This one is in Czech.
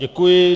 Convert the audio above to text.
Děkuji.